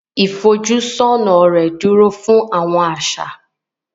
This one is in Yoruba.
Ifojusona rè dúró fún Awọn aṣa